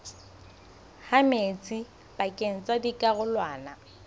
ha metsi pakeng tsa dikarolwana